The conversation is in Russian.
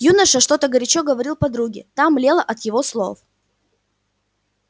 юноша что-то горячо говорил подруге та млела от его слов